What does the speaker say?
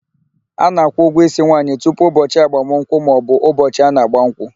A na-akwụ ụgwọ ísí nwaanyị tupu ụbọchị agbamụnkwụ maọbụ ụbọchị a na ágbà nkwụ.